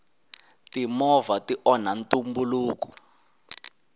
timovha ti onha ntumbuluko